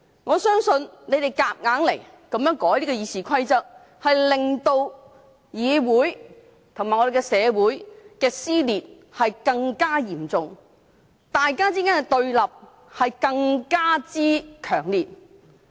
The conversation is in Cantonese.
我相信他們硬要修改《議事規則》，將令議會及社會的撕裂更嚴重，彼此對立更強烈。